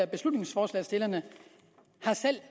beslutningsforslagsstillerne